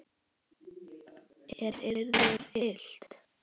Er yður illt?